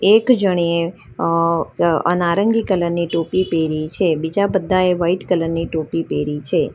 એક જણીએ અહ અહ નારંગી કલર ની ટોપી પહેરી છે બીજા બધાએ વાઈટ કલર ની ટોપી પહેરી છે.